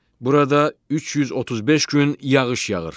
Burada 335 gün yağış yağır.